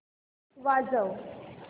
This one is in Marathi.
वाजव